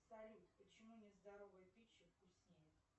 салют почему нездоровая пища вкуснее